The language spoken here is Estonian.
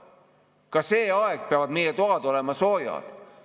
Ka see aeg peavad meie toad olema soojad.